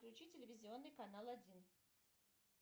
включи телевизионный канал один